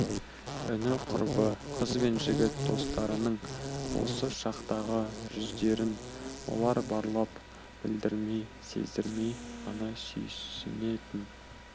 іні құрбы қыз бен жігіт достарының осы шақтағы жүздерін олар барлап білдірмей сездірмей ғана сүйсінетін